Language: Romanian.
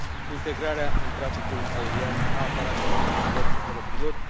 integrarea în traficul aerian a aparatelor de zbor fără pilot.